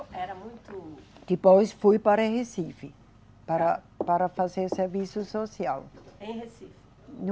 Era muito. Depois fui para Recife para, para fazer serviço social. Em Recife